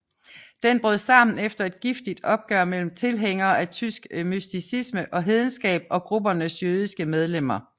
Den brød sammen efter et giftigt opgør mellem tilhængere af tysk mysticisme og hedenskab og gruppens jødiske medlemmer